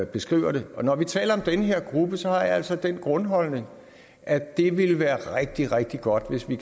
beskriver det når vi taler om den her gruppe har jeg altså den grundholdning at det ville være rigtig rigtig godt hvis vi